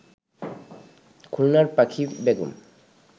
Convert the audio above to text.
খুলনার পাখি বেগম